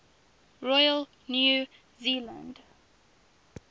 royal new zealand